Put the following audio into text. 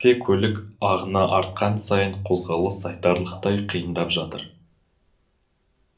тек көлік ағыны артқан сайын қозғалыс айтарлықтай қиындап жатыр